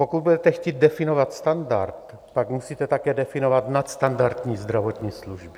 Pokud budete chtít definovat standard, pak musíte také definovat nadstandardní zdravotní služby.